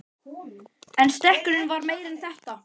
En stekkurinn var meira en þetta.